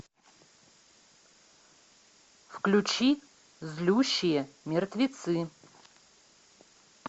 включи злющие мертвецы